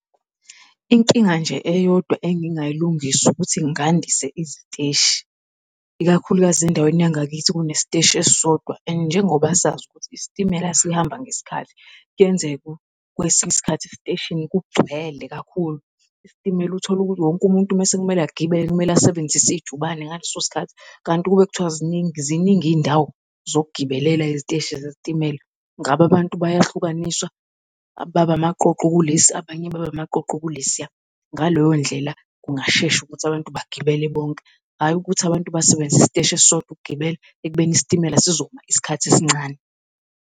Inkinga nje eyodwa engingayilungisa ukuthi ngandise iziteshi, ikakhulukazi endaweni yangakini kunesiteshi esisodwa and njengoba sazi ukuthi isitimela sihamba ngesikhathi. Kuyenzeka kwesinye isikhathi esiteshini kugcwele kakhulu, isitimela uthole ukuthi wonke umuntu mese kumele agibele kumele asebenzise ijubane ngaleso sikhathi. Kanti ukube kuthiwa ziningi ziningi izindawo sokugibelela eziteshi zezitimela, ngabe abantu bayahlukaniswa baba amaqoqo kulesi abanye babe amaqoqo kulesiya. Ngaleyo ndlela kungashesha ukuthi abantu bagibele bonke, hhayi ukuthi abantu basebenzise isiteshi esisodwa ukugibela ekubeni isitimela sizoma isikhathi esincane.